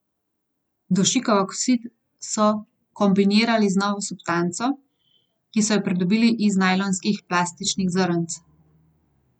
Didušikov oksid so kombinirali z novo substanco, ki so jo pridobili iz najlonskih plastičnih zrnc.